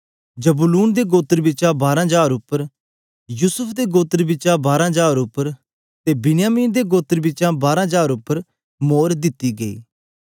जबूलून दे गोत्र बिचा बारां हजार उप्पर युसूफ दे गोत्र बिचा बारां हजार उप्पर ते बिन्यामिन दे गोत्र बिचा बारां हजार उपर मोर दिती गई